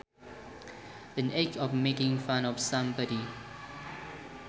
An act of making fun of somebody